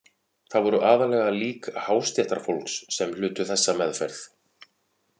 Það voru aðallega lík hástéttarfólks sem hlutu þessa meðferð.